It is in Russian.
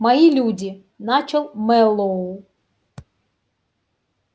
мои люди начал мэллоу